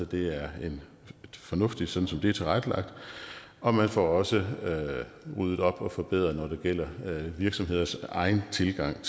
det er fornuftigt som det er tilrettelagt og man får også ryddet op og forbedret når det gælder virksomheders egen tilgang